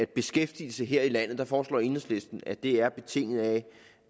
beskæftigelse her i landet og der foreslår enhedslisten at det er betinget af